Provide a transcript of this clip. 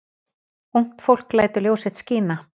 Ungt fólk lætur ljós sitt skína